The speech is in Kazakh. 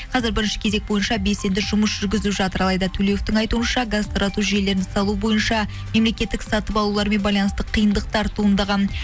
қазір бірінші кезек бойынша белсенді жұмыс жүргізіп жатыр алайда төлеуовтің айтуынша газ тарату жүйелерін салу бойынша мемлекеттік сатып алулармен байланысты қиындықтар туындаған